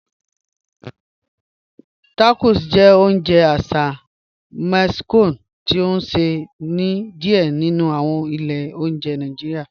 Tacos jẹ́ ọ̀unje àṣà Mexico ti a nṣẹ ni díẹ̀ nínu awọn ilẹ̀ ọ̀njẹ̀ Nàìjíríà.